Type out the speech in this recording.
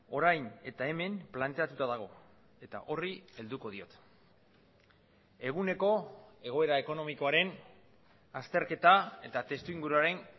orain eta hemen planteatuta dago eta horri helduko diot eguneko egoera ekonomikoaren azterketa eta testu inguruaren